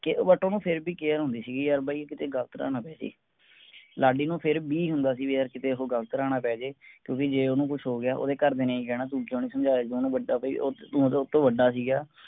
care but ਓਹਨੂੰ ਫੇਰ ਵੀ care ਹੁੰਦੀ ਸੀਗੀ ਯਾਰ ਬਾਈ ਉਹ ਕੀਤੇ ਗਲਤ ਰਾਹ ਨਾ ਪੈ ਜੇ ਲਾਡੀ ਨੂੰ ਫੇਰ ਵੀ ਹੁੰਦਾ ਸੀ ਵੀ ਯਾਰ ਉਹ ਕੀਤੇ ਗਲਤ ਰਾਹ ਨਾ ਪੈ ਜੇ ਕਿਉਂਕਿ ਜੇ ਓਹਨੂੰ ਕੁੱਛ ਹੋਗਿਆ ਓਹਦੇ ਘਰਦਿਆਂ ਨੇ ਹੀ ਕਹਿਣਾ ਤੂੰ ਕਿਉਂ ਨੀ ਸਮਝਾਇਆ ਵੀ ਓਹਨੂੰ ਵੱਡਾ ਬਾਈ ਉਹ ਤੂੰ ਤਾਂ ਓਹਤੋਂ ਵੱਡਾ ਸੀਗਾ